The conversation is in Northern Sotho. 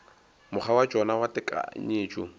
mokgwa wa tšona wa tekanyetšo